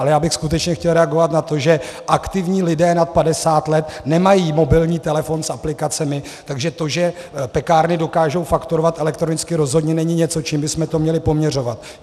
Ale já bych skutečně chtěl reagovat na to, že aktivní lidé nad 50 let nemají mobilní telefon s aplikacemi, takže to, že pekárny dokážou fakturovat elektronicky, rozhodně není něco, čím bychom to měli poměřovat.